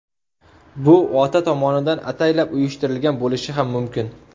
Bu ota tomonidan ataylab uyushtirilgan bo‘lishi ham mumkin.